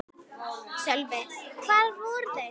Sölvi: Hvar voru þeir?